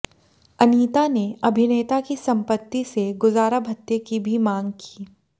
अनीता ने अभिनेता की संपत्ति से गुजारा भत्ते की भी मांग की